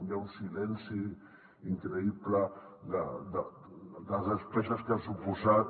hi ha un silenci increïble de les despeses que ha suposat